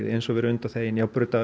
eins og við erum undanþegin